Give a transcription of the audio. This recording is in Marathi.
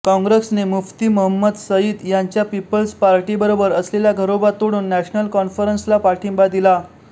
काँग्रेसने मुफ्ती महंमद सईद यांच्या पीपल्स पाटीर्बरोबर असलेला घरोबा तोडून नॅशनल कॉन्फरन्सला पाठिंबा दिला